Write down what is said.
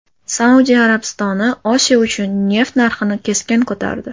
Saudiya Arabistoni Osiyo uchun neft narxini keskin ko‘tardi .